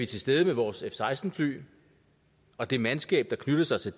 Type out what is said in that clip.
til stede med vores f seksten fly og det mandskab der knytter sig til